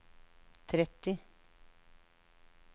tretti